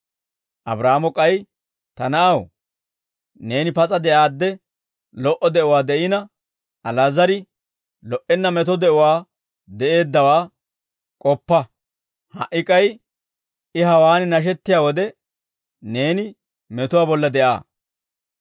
«Abraahaamo k'ay, ‹Ta na'aw, neeni pas'a de'aadde, lo"o de'uwaa de'ina, Ali'aazar lo"enna meto de'uwaa de'eeddawaa k'oppa. Ha"i k'ay I hawaan nashettiyaa wode, neeni metuwaa bolla de'aa.